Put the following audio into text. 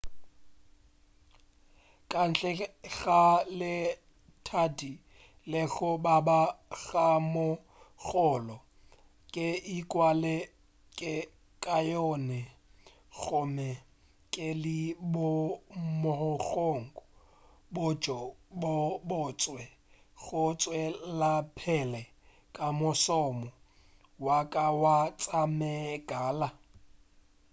kantle ga letadi le go baba ga mogolo ke ikwa ke le kaone gomme ke le boemong bjo bo botse go tšwelapele ka mošomo wa ka wa tša megala